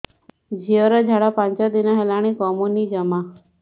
ଝିଅର ଝାଡା ପାଞ୍ଚ ଦିନ ହେଲାଣି କମୁନି ଜମା